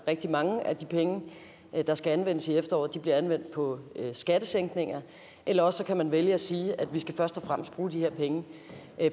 rigtig mange af de penge der skal anvendes i efteråret bliver anvendt på skattesænkninger eller også kan man vælge at sige at vi først og fremmest skal bruge de her penge